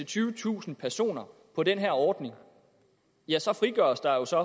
tyvetusind personer på den her ordning ja så frigøres der jo så